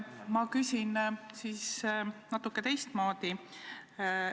Ma küsin natuke teistmoodi.